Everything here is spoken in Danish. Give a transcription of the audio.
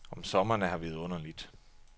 Om sommeren er her vidunderligt.